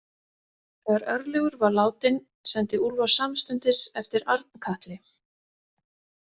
Þegar Örlygur var látinn sendi Úlfar samstundis eftir Arnkatli.